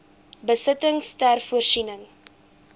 besittings ter voorsiening